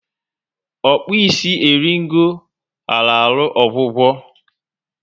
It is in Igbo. Okpi isi eringo ghara ahụ ọgwụgwọ